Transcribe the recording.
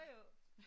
Jo jo